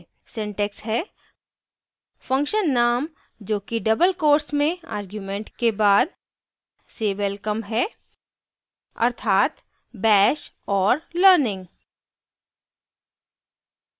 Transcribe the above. syntax है function name जो कि double quotes में आर्ग्य़ुमेंट के बाद say welcome है अर्थात bash और learning